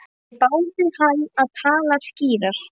Þeir báðu hann að tala skýrar.